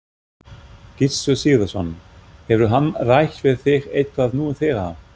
Gissur Sigurðsson: Hefur hann rætt við þig eitthvað nú þegar?